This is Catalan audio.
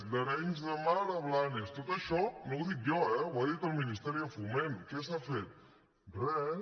d’arenys de mar a blanes tot això no ho dic jo eh ho ha dit el ministeri de foment què s’ha fet res